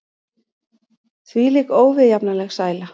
Hvílík óviðjafnanleg sæla!